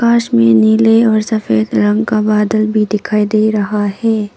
पास में नीले और सफेद रंग का बदला भी दिखाई दे रहा है।